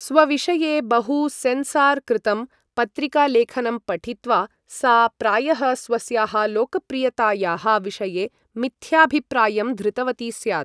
स्वविषये बहु सेन्सार् कृतं पत्रिकालेखनं पठित्वा सा प्रायः स्वस्याः लोकप्रियतायाः विषये मिथ्याभिप्रायं धृतवती स्यात्।